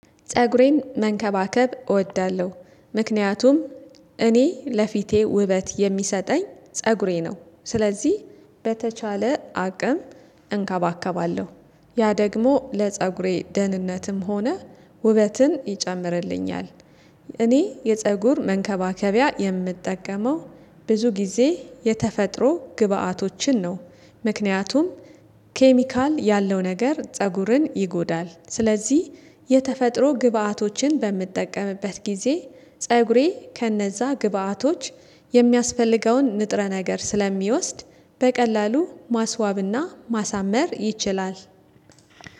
ፀጉሬን መንከባከብ እወዳለሁ ምክንያቱም እኔ ለፊቴ ውበት የሚሰጠኝ ፀጉሬ ነው። ስለዚህ በተቻለ አቅም እንከባከባለሁ ያ ደግሞ ለፀጉሬ ደህንነትም ሆነ ውበትን ይጨምርልኛል። እኔ የፀጉር መንከባከቢያ የምጠቀመው ብዙ ጊዜ የተፈጥሮ ግብአቶችን ነው። ምክንያቱም ኬሚካል ያለው ነገር ፀጉርን ይጎዳል። ስለዚህ የተፈጥሮ ግብአቶችን በምትጠቀምበት ጊዜ ፀጉሬ ከነዛ ግብአቶች የሚያስፈልገውን ንጥረ ነገር ስለሚወስድ በቀላሉ ማስዋብና ማሳመር ይችላል።